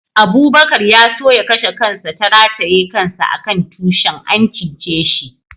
Abubakar ya so ya kashe kansa ta rataye kansa a kan tushin, an cice shi.